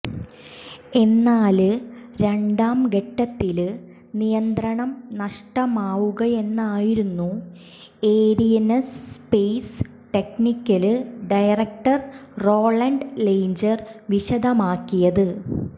എന്നാല് രണ്ടാംഘട്ടത്തില് നിയന്ത്രണം നഷ്ടമാവുകയെന്നായിരുന്നു Arianespace technical director Roland Lagier വിശദമാക്കിയത്